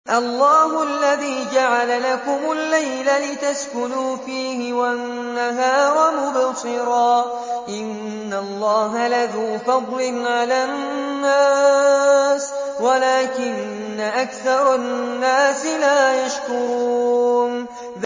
اللَّهُ الَّذِي جَعَلَ لَكُمُ اللَّيْلَ لِتَسْكُنُوا فِيهِ وَالنَّهَارَ مُبْصِرًا ۚ إِنَّ اللَّهَ لَذُو فَضْلٍ عَلَى النَّاسِ وَلَٰكِنَّ أَكْثَرَ النَّاسِ لَا يَشْكُرُونَ